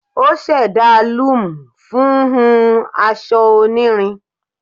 O ṣẹda loom fun hun aṣọ onirin